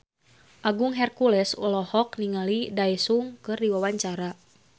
Agung Hercules olohok ningali Daesung keur diwawancara